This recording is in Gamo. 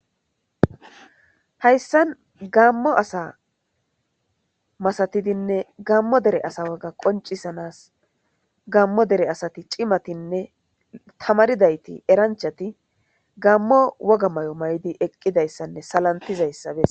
hayssan gammo asa masatidinne gammo dere asa woga qoncisanas gammo dere asati cimatinne tamaridayti eranchati gammo woga may7o may7idi eqqidayssanne salantizayssa bes.